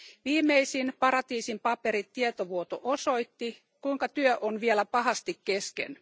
Viimeisin Paratiisin paperit tietovuoto osoitti, kuinka työ on vielä pahasti kesken.